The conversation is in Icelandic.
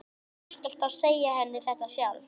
Þú skalt þá segja henni þetta sjálf!